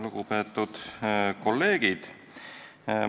Lugupeetud kolleegid!